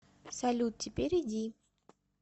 салют теперь иди